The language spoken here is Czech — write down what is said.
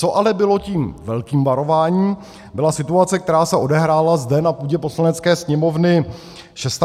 Co ale bylo tím velkým varováním, byla situace, která se odehrála zde na půdě Poslanecké sněmovny 26. a 27. března.